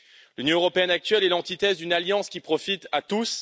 L'Union européenne actuelle est l'antithèse d'une alliance qui profite à tous.